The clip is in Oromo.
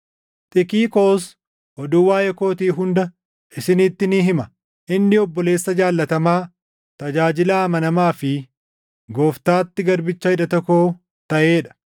Xikiqoos oduu waaʼee kootii hunda isinitti ni hima. Inni obboleessa jaallatamaa, tajaajilaa amanamaa fi Gooftaatti garbicha hidhata koo taʼee dha.